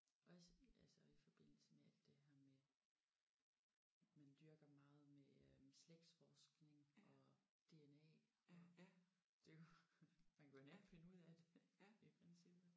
Også altså i forbindelse med alt det her med man dyrker meget med øh slægtsforskning og DNA og det man kunne jo nemt finde ud af det i princippet